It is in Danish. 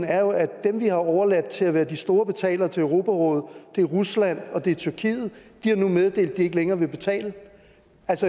er jo at dem vi har overladt til at være de store betalere til europarådet er rusland det er tyrkiet de har nu meddelt at de ikke længere vil betale